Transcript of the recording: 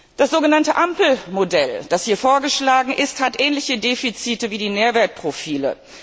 Das so genannte Ampel Modell, das hier vorgeschlagen ist, hat ähnliche Defizite wie die Nährwertprofile.